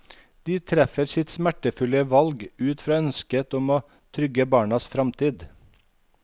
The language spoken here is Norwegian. De treffer sitt smertefulle valg ut fra ønsket om å trygge barnas fremtid.